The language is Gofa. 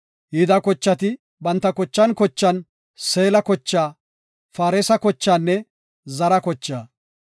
Yihuda kochati banta kochan kochan, Seela kochaa, Faaresa kochaanne Zara kochaa.